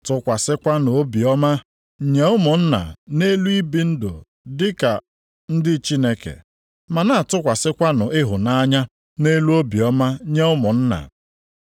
Tụkwasịkwanụ obiọma nye ụmụnna nʼelu ibi ndụ dị ka ndị Chineke, ma na-atụkwasịkwanụ ịhụnanya nʼelu obiọma nye ụmụnna.